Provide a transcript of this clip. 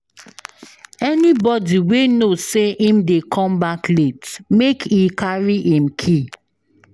Anybodi wey know sey im dey come back late, make e carry im key.